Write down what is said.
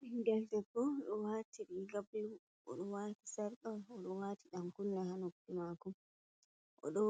Ɓingel debbo, oɗo wati riga blu, o do wati sarka, o do wati ɗan kunne ha noppi mako, o ɗo